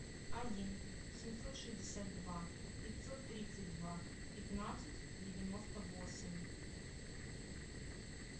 один семьсот шестьдесят два пятьсот тридцать два пятнадцать девяносто восемь